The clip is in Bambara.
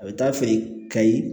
A bɛ taa feere kayi